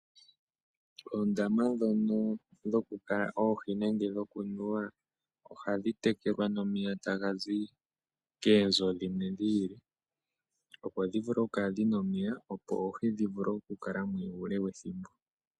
Oondama ndhono dhokukala oohi nenge dhikunuwa ohadhi tekelwa nomeya ta gazi koonzo dhimwe dhiili. Opo dhi vule oku kala dhina omeya, opo oohi dhi vule oku kala mo uule wethimbo.